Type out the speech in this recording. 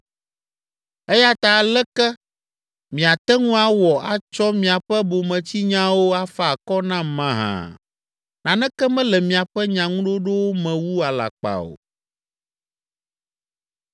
“Eya ta aleke miate ŋu awɔ atsɔ miaƒe bometsinyawo afa akɔ nam mahã? Naneke mele miaƒe nyaŋuɖoɖowo me wu alakpa o!”